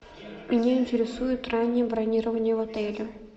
меня интересует раннее бронирование в отеле